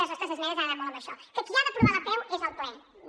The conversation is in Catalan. i les nostres esmenes han anat molt sobre això que qui ha d’aprovar l’apeu és el ple no